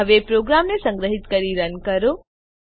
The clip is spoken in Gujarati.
હવે પ્રોગ્રામને સંગ્રહીત કરી રન કરો